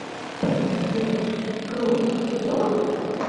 сбер кроликов ела